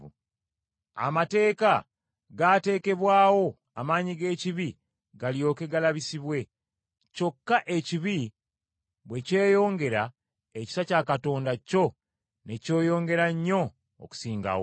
Amateeka gaatekebwawo, amaanyi g’ekibi galyoke galabisibwe. Kyokka ekibi bwe kyeyongera, ekisa kya Katonda kyo ne kyeyongera nnyo okusingawo.